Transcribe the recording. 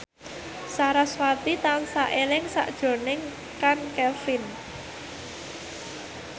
sarasvati tansah eling sakjroning Chand Kelvin